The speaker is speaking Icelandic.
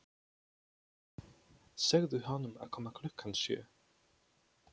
Segðu honum að koma klukkan sjö.